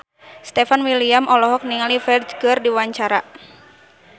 Stefan William olohok ningali Ferdge keur diwawancara